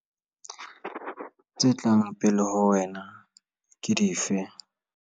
Tse tlang pele ho wena ke dife?